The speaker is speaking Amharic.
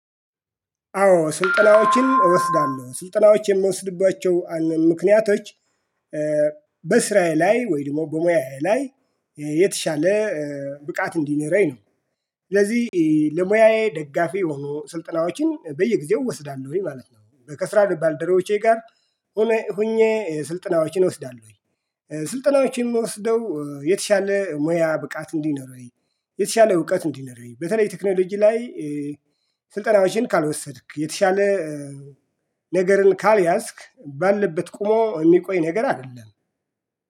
አዎ ስልጠናዎችን እወስዳለሁ ስልጠናዎች የምወስድባቸው ምክንያቶች በስራዬ ላይ ወይም በሙያዬ ላይ የተሻለ ብቃት እንዲኖረኝ ነው። ስለዚህ ለሙያዬ ደጋፊ የሆኑ ስልጠናዎችን በየጊዜው እወስዳለሁኝ ማለት ነው። ከስራ ባልደረባወቼ ጋር ሆኜ ስልጠናዎችን እወስዳለሁኝ። ስልጠናዎችን የምወስደው የተሻለ ሙያ ብቃት እንዲኖረኝ የተሻለ እውቀት እንዲኖረኝ በተለይ ቴክኖሎጂ ላይ ስልጠናዎችን ካልወሰድክ የተሻለ ነገርን ካልያዝክ ባልበት ቆሞ የሚቆይ ነገር አይደለም።